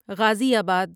غازی آباد